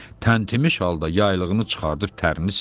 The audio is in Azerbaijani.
Təntimiş halda yaylığını çıxardıp tərini sildi,